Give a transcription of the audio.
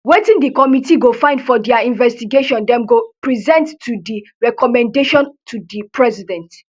wetin di committee go find for dia investigation dem go present to di recommendation to di president